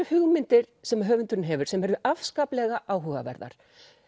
hugmyndir sem höfundurinn hefur sem eru afskaplega áhugaverðar